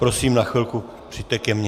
Prosím, na chvilku přijďte ke mně.